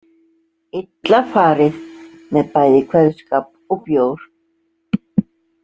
Illa farið með bæði kveðskap og bjór.